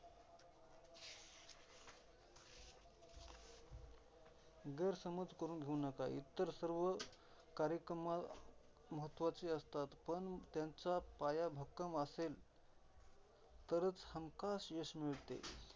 गैरसमज करून घेऊ नका. इतर सर्व कार्यक्रम महत्त्वाचे असतात. पण त्यांचा पाया भक्कम असेल, तरच हमखास यश मिळते.